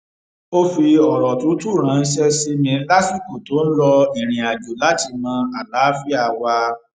ó fi òrò tútù ránṣé sí mi lásìkò tó ń lọ ìrìnàjò láti mọ àlàáfíà wa